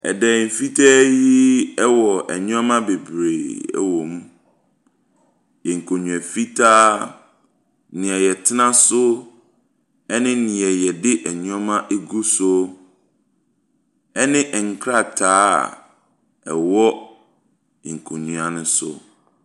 Dan fitaa yi ɛwɔ nneɛma bebree ɛwɔ mu, nkonnwa fitaa, deɛ yɛtena so, ɛne deɛ yɛde nneɛma ɛgu so. Ɛne nkrataa a ɛwɔ nkonnwa no so.